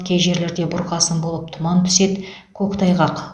кей жерлерде бұрқасын болып тұман түседі көктайғақ